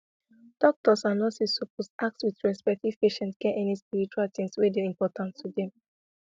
doctors and nurses suppose ask with respect if patient get any spiritual thing wey dey important to them